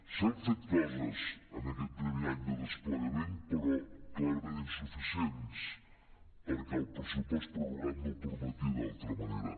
s’han fet coses en aquest primer any de desplegament però clarament insuficients perquè el pressupost pror·rogat no ho permetia d’altra manera